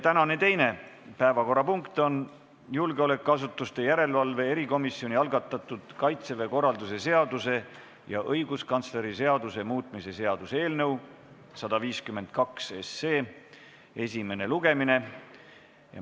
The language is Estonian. Tänane teine päevakorrapunkt on julgeolekuasutuste järelevalve erikomisjoni algatatud Kaitseväe korralduse seaduse ja õiguskantsleri seaduse muutmise seaduse eelnõu 152 esimene lugemine.